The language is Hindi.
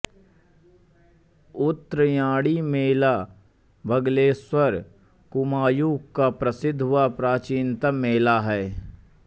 उत्त्रायणी मेला बागेश्वर कुमायुं का प्रसिद्ध व प्राचीनतम मेला है